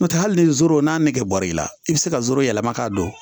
N'o tɛ hali ni zoro n'a nɛgɛ bɔr'i la i bɛ se ka goro yɛlɛma k'a don